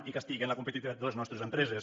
i castiguen la competitivitat de les nostres empreses